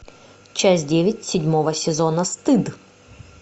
часть девять седьмого сезона стыд